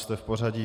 Jste v pořadí.